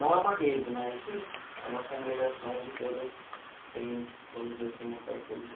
Não é uma rede, mas é uma congregação onde todas têm, vamos dizer assim, uma parceria.